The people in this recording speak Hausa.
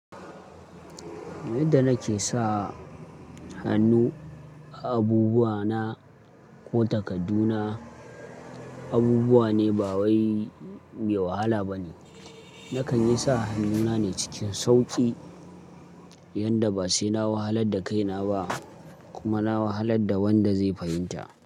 Yadda nake sa hannu a abubuwa na ko takardu na, abubuwa ne ba wai me wahala bane. Nakan yi sa hannuna ne cikin sauƙi yanda ba sai na wahalar da kaina ba kuma na wahalar da wanda zai fahimta.